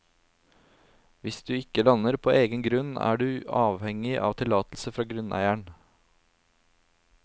Hvis du ikke lander på egen grunn, er du avhengig av tillatelse fra grunneier.